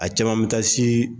A caman bɛ taa se